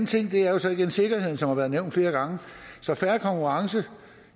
ting er så igen sikkerheden som har været nævnt flere gange så fair konkurrence